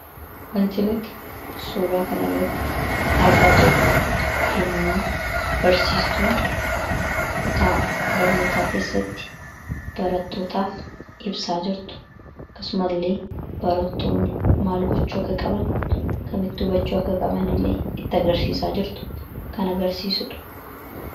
Suuraa kanaa gadii irraa kan mul'atu yammuu barsiistuun barattoota daree keessatti qayyabachiisaa jirtuudha. Akkasumas ijoolleen maal gochuu akka qaban kan itti agarsiisaa jirtuu dha.